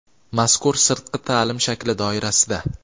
Mazkur sirtqi taʼlim shakli doirasida:.